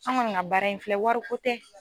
An kɔni ka baara in filɛ wariko tɛ.